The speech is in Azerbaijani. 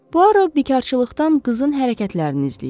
Puaro bikarçılıqdan qızın hərəkətlərini izləyirdi.